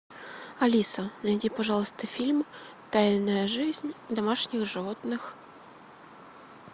алиса найди пожалуйста фильм тайная жизнь домашних животных